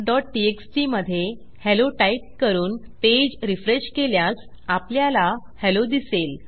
countटीएक्सटी मधे hello type करून page refresh केल्यास आपल्याला हेल्लो दिसेल